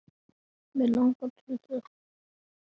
Mig langar til þess.